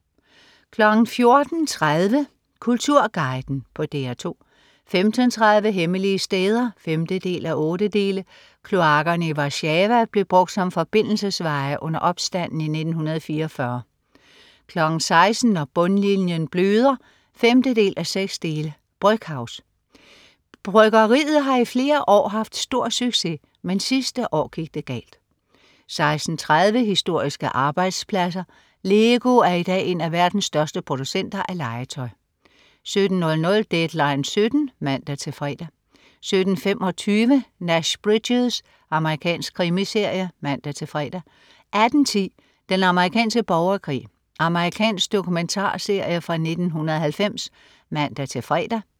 14.30 Kulturguiden på DR2 15.30 Hemmelige steder 5:8. Kloakkerne i Warszawa blev brugt som forbindelsesveje under opstanden i 1944 16.00 Når bundlinjen bløder 5:6. Brøckhouse. Bryggeriet har i flere år haft stor succes. Men sidste år gik det galt 16.30 Historiske arbejdspladser. LEGO er i dag en af verdens største producenter af legetøj 17.00 Deadline 17.00 (man-fre) 17.25 Nash Bridges. Amerikansk krimiserie (man-fre) 18.10 Den amerikanske borgerkrig. Amerikansk dokumentarserie fra 1990 (man-fre)